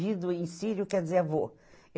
Gido em sírio quer dizer avô.